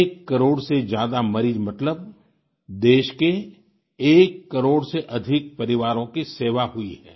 एक करोड़ से ज्यादा मरीज मतलब देश के एक करोड़ से अधिक परिवारों की सेवा हुई है